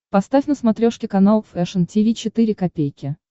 поставь на смотрешке канал фэшн ти ви четыре ка